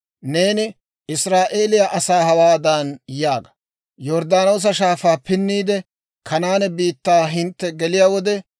«Neeni Israa'eeliyaa asaa hawaadan yaaga; ‹Yorddaanoosa Shaafaa pinniide, Kanaane biittaa hintte geliyaa wode,